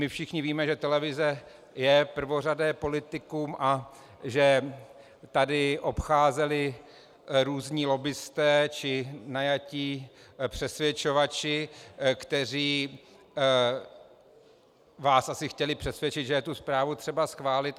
My všichni víme, že televize je prvořadé politikum a že tady obcházeli různí lobbisté či najatí přesvědčovači, kteří vás asi chtěli přesvědčit, že je tu zprávu třeba schválit.